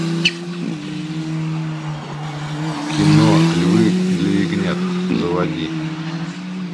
кино львы для ягнят заводи